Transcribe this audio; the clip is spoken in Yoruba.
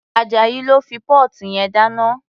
Ajayi ló fi póòtù yẹn dáná.